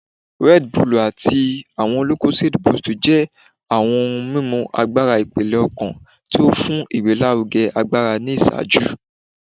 Red Bull ati awọn lucozade boost jẹ awọn ohun mimu agbara ipele-ọkan ti o fun igbelaruge agbara ni iṣaaju